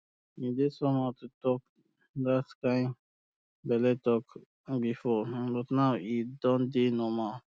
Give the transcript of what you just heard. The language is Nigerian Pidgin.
e dey somehow to talk that kind belle talk before but um now e don dey normal